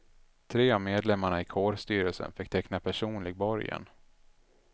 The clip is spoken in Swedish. Tre av medlemmarna i kårstyrelsen fick teckna personlig borgen.